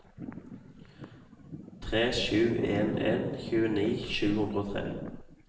tre sju en en tjueni sju hundre og tre